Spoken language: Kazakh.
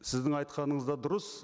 сіздің айтқаныңыз да дұрыс